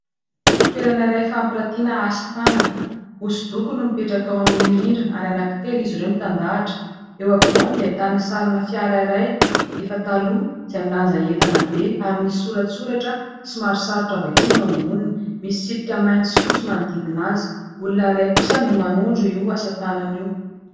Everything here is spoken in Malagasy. Toerana iray fampiratiana asa tanana. Hosodoko no mipetraka ao amin'ny rindrina ary anankitelo izy ireo mitandahatra. Eo ampovoany dia ahitana sarina fiara iray efa taloha izay milanja entana be ary misy soratsoratra somary sarotra vakiana eo amboniny. Misy tsipika mainty sy fotsy manodidina azy. Olona iray kosa no manondro io asa tanana io.